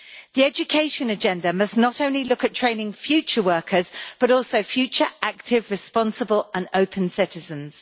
The education agenda must not only look at training future workers, but also future active, responsible and open citizens.